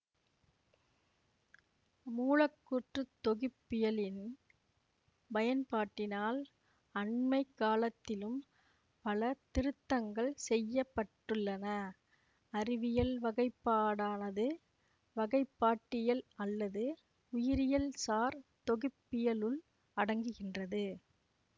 மூலக்கூற்றுத் தொகுப்பியலின் பயன்பாட்டினால் அண்மைக்காலத்திலும் பல திருத்தங்கள் செய்ய பட்டுள்ளன அறிவியல் வகைப்பாடானது வகைப்பாட்டியல் அல்லது உயிரியல்சார் தொகுப்பியலுள் அடங்குகின்றது